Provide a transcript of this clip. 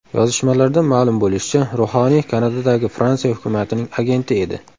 Yozishmalardan ma’lum bo‘lishicha, ruhoniy Kanadadagi Fransiya hukumatining agenti edi.